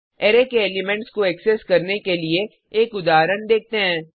array के elements को access करने के लिए एक उदाहरण देखते हैं